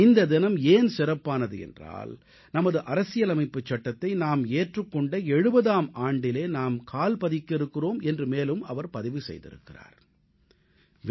இந்த தினம் ஏன் சிறப்பானது என்றால் நமது அரசியலமைப்புச் சட்டத்தை நாம் ஏற்றுக் கொண்ட 70ஆம் ஆண்டில் நாம் கால் பதிக்க இருக்கிறோம் என்று மேலும் அவர் பதிவு செய்திருக்கிறார்